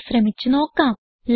ഇത് ശ്രമിച്ച് നോക്കാം